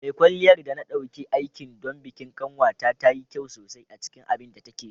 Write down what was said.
Mai kwalliyar da na ɗauki aiki don bikin ƙanwata ta yi kyau sosai a cikin abin da take yi.